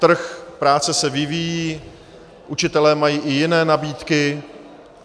Trh práce se vyvíjí, učitelé mají i jiné nabídky.